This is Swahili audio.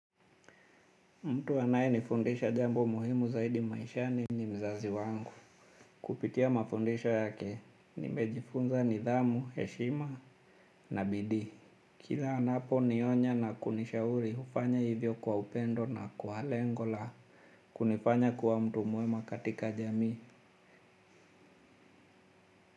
Mtu anaye nifundisha jambo muhimu zaidi maishani ni mzazi wangu. Kupitia mafundisho yake nimejifunza nidhamu, heshima na bidii. Kila anaponionya na kunishauri hufanya hivyo kwa upendo na kwa lengo la kunifanya kuwa mtu mwema katika jamii.